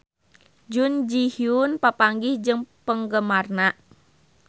Jun Ji Hyun papanggih jeung penggemarna